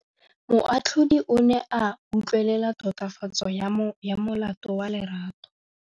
Moatlhodi o ne a utlwelela tatofatsô ya molato wa Lerato.